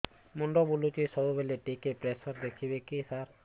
ମୁଣ୍ଡ ବୁଲୁଚି ସବୁବେଳେ ଟିକେ ପ୍ରେସର ଦେଖିବେ କି ସାର